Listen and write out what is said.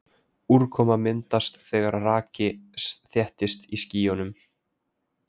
úrkoma myndast þegar raki þéttist í skýjum